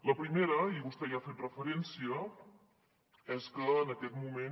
la primera i vostè hi ha fet referència és que en aquest moment